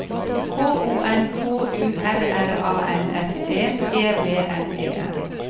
K O N K U R R A N S E E V N E N